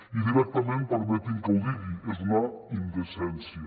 i directament permetin me que ho digui és una indecència